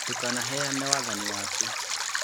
Ndũkanaheane wathani waku.